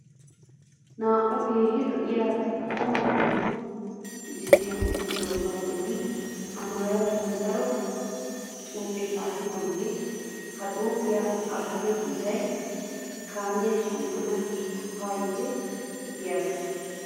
Naa'u keehi lo'iyaa so maakiinatu misiliyaa medhdhidoogaa bolla amaarattuwan daro xuupiyaa xaapoogaa. Ha xuupee aattiyoo kiitayi kaamiyaa shammana giikko haa yiite giyaagaa.